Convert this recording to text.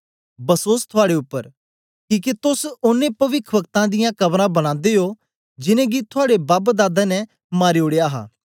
बसोस थुआड़े उपर किके तोस ओनें पविखवक्तें दियां कबरां बनादे ओ जिनेंगी थुआड़े बबदादें ने मारी ओड़या हा